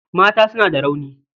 Mata suna da rauni.